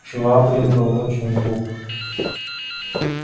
швабрин был очень глуп